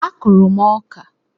A kụrụ m ọka